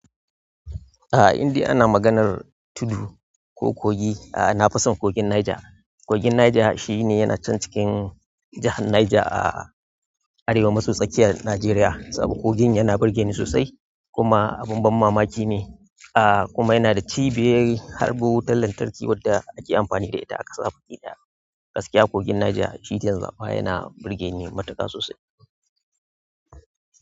A inde ana maganar tudu ko kogi, a na fison kogin Niger. Kogin Niger shi ne yana can cikin jahar Niger a arewa maso tsakiyar Najeriya. Saboda kogin yana burge ni sosai kuma abin ban mamaki ne, a kuma yana da cibiyoyin harɓu wutar lantarki wadda ake amfani da ita a ƙasa. Baki da gaskiya, kogin Niger shi zan zaɓa ya na burge ni matuƙa sosai.